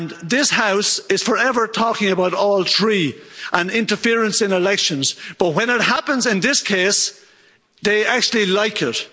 This House is forever talking about all three, and interference in elections, but when it happens in this case, they actually like it.